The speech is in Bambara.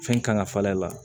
Fɛn kan ka falen a la